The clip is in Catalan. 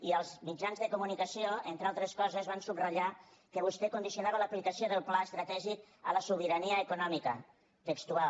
i els mitjans de comunicació entre altres coses van subratllar que vostè condicionava l’aplicació del pla estratègic a la sobirania econòmica textual